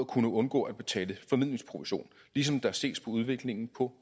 kunne undgå at betale formidlingsprovision ligesom der ses på udviklingen på